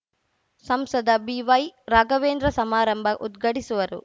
ಸಂಸದ ಬಿವೈರಾಘವೇಂದ್ರ ಸಮಾರಂಭ ಉದ್ಘಾಟಿಸುವರು